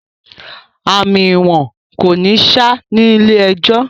Àmì ìwọ̀n kò ní ṣá ní ilé ẹjọ̀